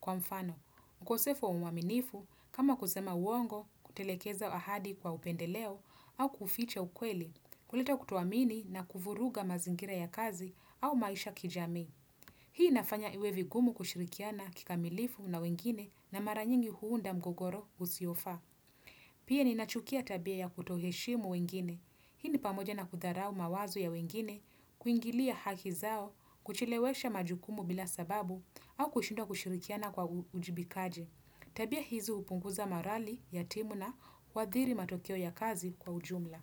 Kwa mfano, ukosefo uaminifu, kama kusema uongo, kutelekeza ahadi kwa upendeleo au kuficha ukweli, kuleta kutoamini na kuvuruga mazingira ya kazi au maisha kijamii. Hii inafanya iwe vigumu kushirikiana kikamilifu na wengine na mara nyingi huunda mgogoro usio faa. Pia ninachukia tabia ya kutoheshimu wengine. Hii ni pamoja na kudharau mawazo ya wengine, kuingilia haki zao, kuchelewesha majukumu bila sababu, au kushindwa kushirikiana kwa ujibikaji Tabia hizo hupunguza morali, ya timu na, huadhiri matokeo ya kazi kwa ujumla.